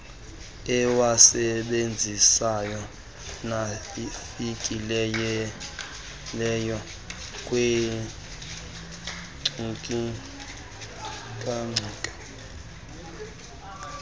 ewasebenzisayo nafikelelayo kwiinkcukacha